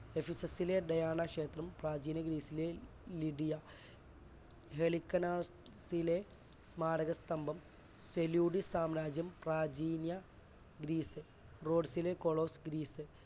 ഒഫിസസസിലെ Diana ക്ഷേത്രം, പ്രാചീന ഗ്രീസിലെ ലിധിയ സ്മാരകസ്തംഭം ഫെലുഡ് സാമ്രാജ്യം പ്രാചീന ഗ്രീസ് റോഡ്സിലെ കൊളൊസ് ഗ്രീസ്